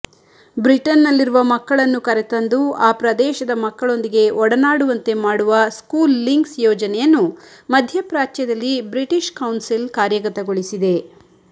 ಬ್ರಿಟನ್ನಲ್ಲಿರುವ ಮಕ್ಕಳನ್ನು ಕರೆತಂದು ಆ ಪ್ರದೇಶದ ಮಕ್ಕಳೊಂದಿಗೆ ಒಡನಾಡುವಂತೆ ಮಾಡುವ ಸ್ಕೂಲ್ ಲಿಂಕ್ಸ್ ಯೋಜನೆಯನ್ನು ಮಧ್ಯಪ್ರಾಚ್ಯದಲ್ಲಿ ಬ್ರಿಟಿಶ್ ಕೌನ್ಸಿಲ್ ಕಾರ್ಯಗತಗೊಳಿಸಿದೆ